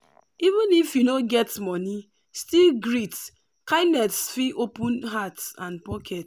even if you no get money still greet kindness fit open heart and pocket.